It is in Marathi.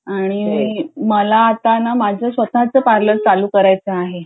आणि मला ना आता माझं स्वतचं पार्लर सुरू करायचं आहे